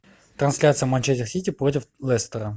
трансляция манчестер сити против лестера